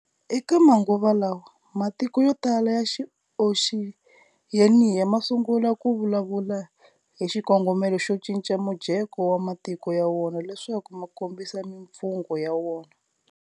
Eka manguva lawa, matiko yotala ya Oxiyeniya masungula kuvulavula hi xikongomelo xo cinca mujeko ya matiko ya wona leswaku makombisa mifungo ya wona.